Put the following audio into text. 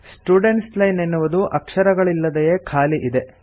students line ಎನ್ನುವುದು ಅಕ್ಷರಗಳಿಲ್ಲದೆಯೆ ಖಾಲಿ ಇದೆ